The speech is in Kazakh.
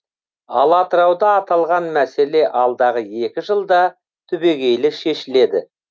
ал атырауда аталған мәселе алдағы екі жылда түбегейлі шешіледі